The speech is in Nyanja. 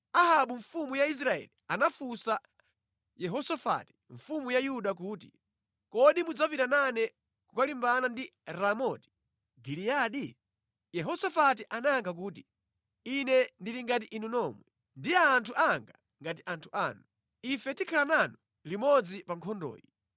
Ahabu mfumu ya Israeli anafunsa Yehosafati mfumu ya Yuda kuti, “Kodi mudzapita nane kukalimbana ndi Ramoti Giliyadi?” Yehosafati anayankha kuti, “Ine ndili ngati inu nomwe, ndi anthu anga ngati anthu anu. Ife tikhala nanu limodzi pa nkhondoyi.”